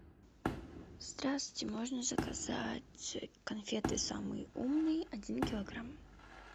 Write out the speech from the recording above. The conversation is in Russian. здравствуйте можно заказать конфеты самый умный один килограмм